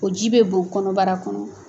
O ji bɛ bon kɔnɔbara kɔnɔ.